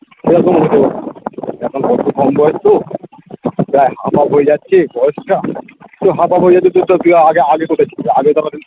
এখন অল্প কম বয়স তো তা আমার হয়ে যাচ্ছে বয়সটা তো half half হয়ে যাচ্ছে চুপচাপ কি আ~আগে কোথায় চিলিস ছিলিস আগে কোনোদিন